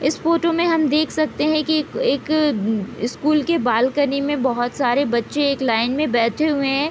इस फोटो मे हम देख सकते है की एक एक स्कूल के बालकनी मे बोहत सारे बच्चे एक लाइन मे बैठे हुए है।